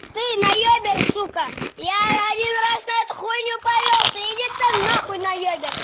ты наёберь сука я один раз на эту хуйню повёлся иди ты на хуй наёберь